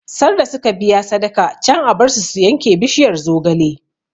Sarda suka biya sadaka can a bar su su yanke bishiyar zogale